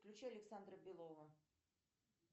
включи александра белова